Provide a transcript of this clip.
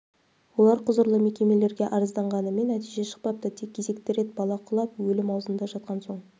олар құзырлы мекемелерге арызданғанымен нәтиже шықпапты тек кезекті рет бала құлап өлім аузында жатқан соң